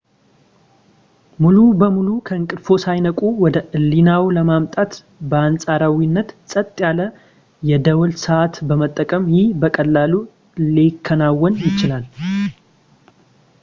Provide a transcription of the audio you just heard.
ሙሉ በሙሉ ከእንቅልፍዎ ሳይነቁ ወደ ህሊናዎ ለማምጣት በአንጻራዊነት ጸጥ ያለ የደወል ሰዓት በመጠቀም ይህ በቀላሉ ሊከናወን ይችላል